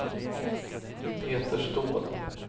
Peter Ståhl